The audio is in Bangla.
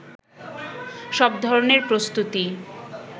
সব ধরনের প্রস্তুতি